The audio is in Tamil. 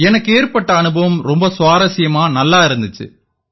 எனக்கு ஏற்பட்ட அனுபவம் ரொம்ப சுவாரசியமா நல்லா இருந்திச்சு